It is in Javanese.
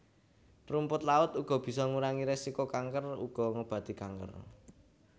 Rumput laut uga bisa ngurangi resiko kanker uga ngobati kanker